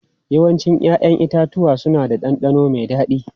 Yawancin 'ya'yan itatuwa suna da ɗanɗano mai dadi.